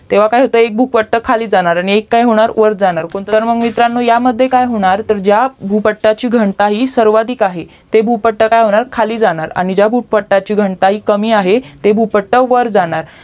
तेव्हा काय होत एक भूपट्ट खालीच जाणार आणि एक काय होणार वर जाणार तर मित्रांनो या मध्ये काय होणार तर ज्या भूपट्टाची घनता ही सर्वाधिक आहे ते भूपट्ट काय होणार खाली जाणार आणि ज्या भूपट्टाची घनता कमी आहे ते भूपट्ट वर जाणार